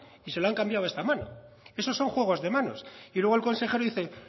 y se lo han cambiado a esta mano eso son juegos de manos y luego el consejero dice